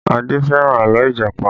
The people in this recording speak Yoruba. Adé fẹ́ràn àlọ́ Ìjàpá